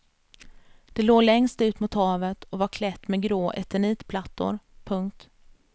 Det låg längst ut mot havet och var klätt med grå eternitplattor. punkt